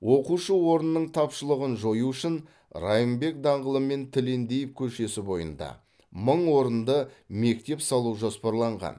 оқушы орнының тапшылығын жою үшін райымбек даңғылы мен тілендиев көшесі бойында мың орынды мектеп салу жоспарланған